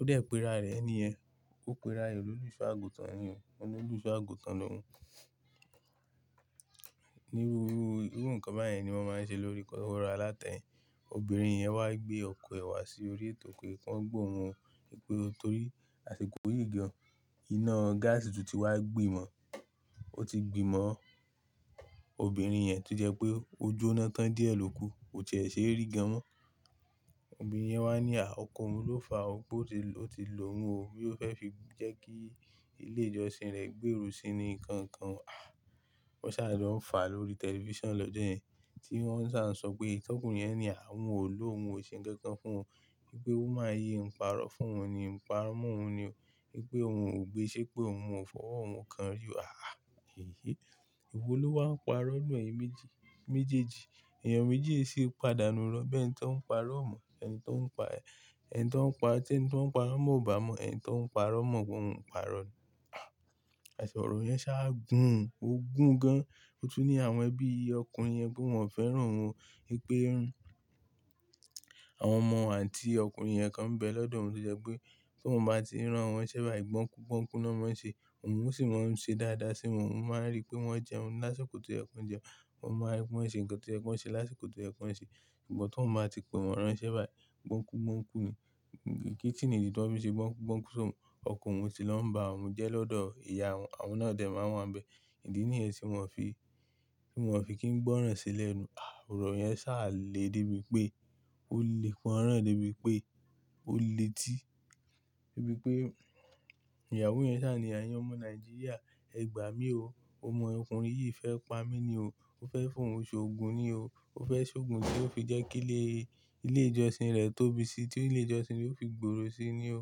Ó dẹ̀ pe ara rẹ̀ ní ẹ. Ó pe ra rẹ̀ l'olusọ́ àgùntàn ni o, o ni oluṣọ́ àgùntàn lóun. Ní irú iru, iru nǹkan báyen ni wọ́n máa ń ṣe lórí kọ́kọ́ro alátẹ. Obìnrin yẹn wá gbé ọkọ̀ ẹ wá sí orí ètò pé kí wọ́n gba òun o, wípé torí àsìkò yìí gan, iná gáàsì tún ti wá gbìmọ̀. Ó ti gbì mọ̀ obìnrin yẹn to jẹ́ pé ó jóná tán díẹ̀ lóku, kò tiẹ̀ ṣe e ri gan mọ́n. Obìnrin yẹn wá ní à, ọkọ òun ló fà ó pé ó ti lo òun o, boya ó fẹ́ fi jẹ́ kí ilé ìjọsìn rẹ̀ gbérò síi ni nkankan o. Ah! Wọ́n sá lọ ń fà lórí tẹlifíṣàn lọ́jọ́ yẹn, tí wọ́n sá ń sọ pé t'ọ́kùnrin yẹn ni oun ò lò ò, oun o ṣe nkankan fún ò, wípé woman yi n parọ́ fún òun ni, n parọ́ mọ́ òun ni o, wípé òun ò gbe ṣépé, oun ò fọwọ́ òun kan rí o. Ah! Èyí. Ewo ló wá ń parọ́ ninù ẹ́yin méjèèjì. Ẹ̀yàn méjì e si pàdánù irọ bẹ́ni tí wọ́n ń parọ́ o mọ́, ẹni tí wọ́n ń pa ẹ, ẹni tí wọ́n ń pa tí ẹni tí wọ́n ń parọ́ mọ́ ò bá mọ̀, ẹni tí o ń parọ́ mọ́ pe oun ń parọ́ ni. Àsi ọ̀rọ̀ yẹn sáà gún un, ó gún gan. Ó tún ní àwọn ẹbí ọkùnrin yẹn pé wọ́n ò fẹ́ràn òun o, wípé àwọn ọmọ ànti ọkùnrin yẹn kan ń bẹ lọ́dọ̀ òun to jẹ́ pé tí oun bá ti n rán wọ́n nṣẹ́ bàyi gbọ́nkú gbọ́nkú náà máa ń ṣe, òun ó sì máa ń ṣe dáadáa sí wọ́n, oun máa ń rí pé wọ́n jẹun lásìkò tó ye kí wọ́n jẹun, oun máa rí pé wọ́n ṣe nǹkan tí o yẹ́ ki won ṣe lásìkò tó ye kí wọ́n ṣe. Ngbon tí oun bá ti pè wọ́n ránṣẹ́ báyìí, gbọ́nkúgbọ́nkú ni. Kí i niyi tí wọ́n fi n ṣe gbọ́nkúgbọ́nkú s'óun, ọko òun ti lọ ń bá òun jẹ́ lọ́dọ̀ ìyá won, àwọn náà dẹ̀ máa ń wa nbẹ. Idi niyen tí wọ́n fi, tí wọ́n fi kí n gbọ́ràn sí lẹ̀nù. Ah! Ọ̀rọ̀ yẹn sá à le débi pé ó le pọran débi pé ó le tì, débi pé ìyàwó yẹn sá ni, "Eyin omọ́ Nàìjíríà, ẹ gbà mí o. Ọmọ ọkùnrin yìí fẹ́ pa mí ni o. Ó fẹ́ fi òun ṣ'ògùn ni o. Ó fẹ́ ṣ'ògùn tí ó fi jẹ́ kí ilé ìjọsìn rẹ̀ tóbi síi tí ilé ìjọsìn re ó fi gbòòrò síi ni o."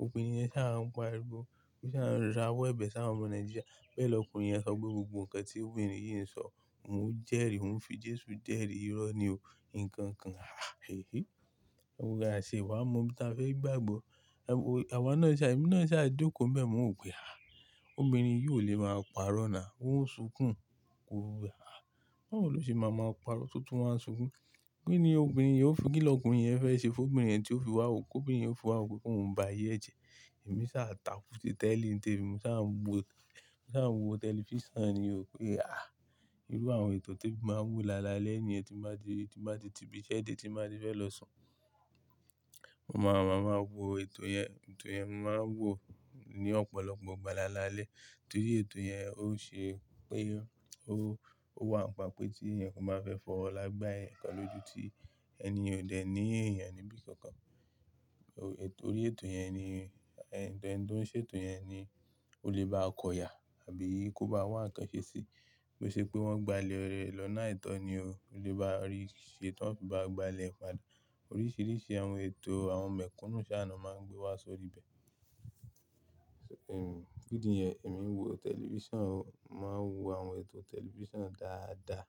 Òbirin yẹn sá à ń pariwo, ó sá à ń ra owo ẹ̀bẹ́ si àwọn omọ̀ Nàìjíríà. Bẹ́ẹ̀ l'ọkùnrin yẹn sọ pe gbogbo nǹkan tí obìnrin yìí ń sọ. Òun jẹ́rìí, òun fi Jésù jẹ́rìí irọ́ ni o. Ǹǹkan kan. Ah! Èyí. Ọun gan à tie wa mọ ẹni tí a fẹ́ gbàgbọ́. Àwa náà sá, ẹ̀mí náà sá jokó nbẹ́ mọ́ n wo pe. Ah! Obìnrin yìí ò lè máa parọ́ náà. Ó ń sunkùn. Báwo ni ò ṣe máa máa parọ́ tó tún wá ń sunkùn. Kí ni obìnrin yìí ó fi kí l'ọkùnrin yẹn fẹ́ ṣe fún obìnrin yẹn tí ó fi wà wo, t'obìnrin yẹn o fi wà wo pé kòun ń ba ayẹ́ e jẹ. Ẹ̀mí sá à taku ti tẹ́li ń tẹ́mi, mo sá à wo tẹlifíṣàn ni o. Ah! Irú àwọn ètò ti emi màá ń wò lálalẹ́ niyen tí n bá ti ti ibi iṣẹ́ dé tí n bàá ti fẹ́ lọ sùn. Mo máa ń wò ètò yẹn, ètò yẹn màá ń wò ní ọ̀pọ̀lọpọ̀ ìgbà lálalẹ́, torí ètò yẹn ó ṣe pé ó wà nípa pé tí ẹ̀ni kan bá fẹ́ fọwọ́ ola gbà ẹ̀ǹikan lóju tí ẹni yen ò dẹ̀ ní èèyàn níbi kankan. Torí ètò yẹn ni, ẹni tó ń ṣe ètò yẹn ni ó lè bá kọ iya àbí kó bá wá ǹkan ṣe síi. Bí ó ṣe pé wọ́n gbálẹ̀ rẹ̀ lọ́nà aitọ́ ni o, ó lè bá rí i ṣe tán fi bá gbá ilẹ̀ e padà. Oríṣìíríṣìí àwọn ètò àwọn mẹ̀kúnnù sá na máa ń gbé wá sórí ibẹ̀. Idí niyẹn èmi ń wo tẹlifíṣàn o, màá ń wo àwọn ètò tẹlifíṣàn dáadáa.